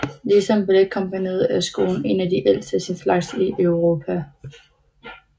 Ligesom balletkompagniet er skolen en af de ældste af sin slags i Europa